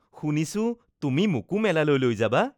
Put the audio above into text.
শুনিছোঁ তুমি মোকো মেলালৈ লৈ যাবা